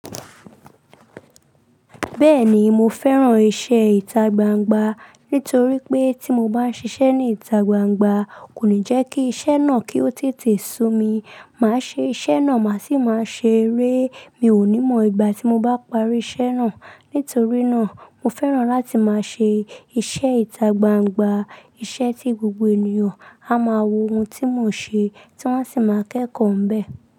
Bẹ́ẹ̀ni mo fẹ́ràn iṣẹ́ ìtagbangba nítorí pé tí mo bá ṣiṣẹ́ ní ìtagbangba kò ní jẹ́ kí iṣẹ́ náà kí ó tètè sú mi. Màá ṣe iṣẹ́ náà, màá sì máa ṣe eré. Mi ò ní mọ ìgbà tí mo bá parí iṣẹ́ náà. Nítorí náà, mo fẹ́ràn láti máa ṣe iṣẹ́ ìtagbangba. Iṣẹ́ tí gbogbo ènìyàn á máa wo ohun tí mò ń ṣe, tí wọ́n sì máa kẹ́kọ̀ọ́ ń bẹ.